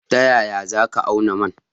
Ta yaya za ka auna man?